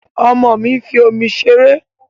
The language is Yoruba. Ọmọ mi ń fi omi ṣeré